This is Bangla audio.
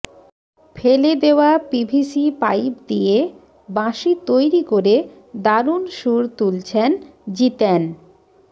ফেলে দেওয়া পিভিসি পাইপ দিয়ে বাঁশি তৈরি করে দারুণ সুর তুলছেন জিতেন